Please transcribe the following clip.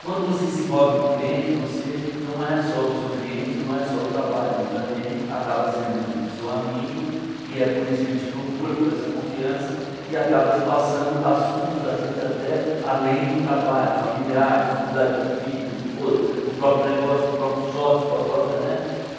Quando você se envolve com o cliente, você não é só o seu cliente, não é só o trabalho, ele também acaba sendo seu amigo, e é por isso que ele te procura, por essa confiança, e acaba te passando assuntos, às vezes, até além do trabalho, familiar, dificuldade com o filho, com o esposa, com o próprio negócio, com o próprio sócio, com a própria, né?